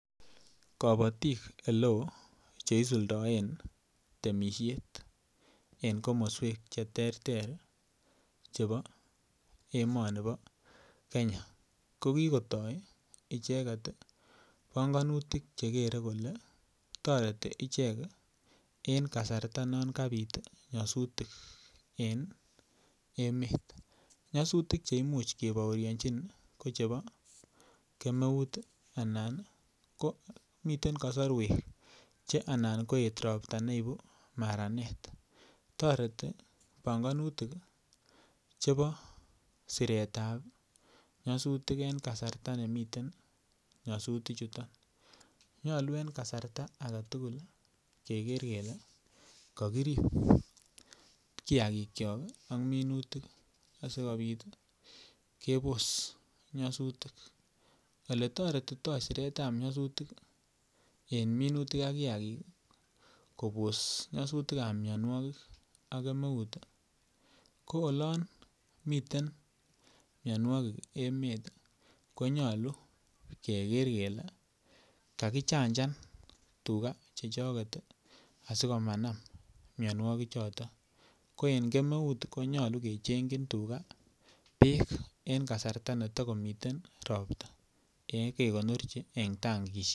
Kabatik oleo Che isuldoen temisiet en komoswek Che terter chebo emoni bo Kenya ki kotoi icheget panganutik Che kere kole toreti ichek en kasarta non kabit nyasutik en emet nyasutik Che kebaorionjin ko chebo kemeut anan komiten kasarwek Che anan koit Ropta ne ibu maranet toreti panganutik chebo siretab ab nyasutik en kasarta nemiten nyasutichuton nyolu en kasarta age tugul kele kakirib kiagikyok ak minutik asikobit kebos nyasutik Ole toretitoi siretab nyasutik en minutik ak kiagik kobos nyasutik ab mianwogik ak kemeut ko oloon miten mianwogik emet ko nyolu keker kele kakichanjan tuga chechoget asi komanam mianwogichuto ko en kemeut ko nyolu kechengchi tuga bek en kasarta ne ta komiten ropta kekonorchi en tankisiek